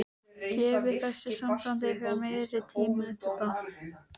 Gefið þessu sambandi ykkar meiri tíma, Edda.